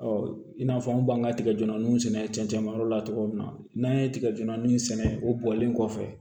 i n'a fɔ an b'an ka tigɛjɛniw sɛnɛ cɛncɛn bɔ yɔrɔ la cogo min na n'an ye tigɛ jɛni sɛnɛ o bɔlen kɔfɛ